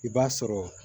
I b'a sɔrɔ